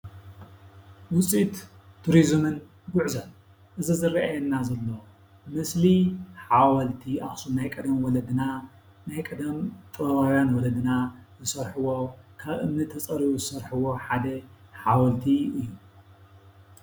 ዉፅኢት ቱሪዝምን ጉዕዞን:- እዚ ዝርኣየና ዘሎ ምስሊ ሓወልቲ ናይ ቀደም ወለድና ናይ ቀደም ጥበባዉያን ወለድና ዝሰርሕዎ ካብ እምኒ ተፀሪቡ ዝሰርሕዎ ሓደ ሓወልቲ እዩ።